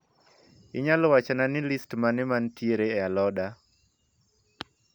Inyalo wachona ni listi mane mantiere e aloda